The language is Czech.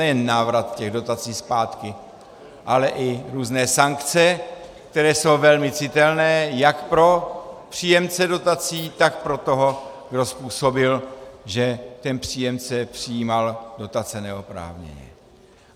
Nejen návrat těch dotací zpátky, ale i různé sankce, které jsou velmi citelné jak pro příjemce dotací, tak pro toho, kdo způsobil, že ten příjemce přijímal dotace neoprávněně.